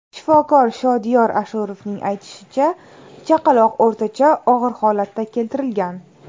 Shifokor Shodiyor Ashurovning aytishicha, chaqaloq o‘rtacha og‘ir holatda keltirilgan.